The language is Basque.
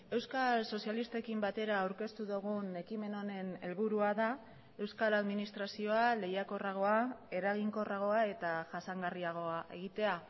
euskal sozialistekin batera aurkeztu dugun ekimen honen helburua da euskal administrazioa lehiakorragoa eraginkorragoa eta jasangarriagoa egitea